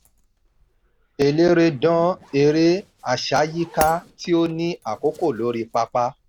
eléré dán eré àsáyíká tí ó ní àkókò lórí pápá.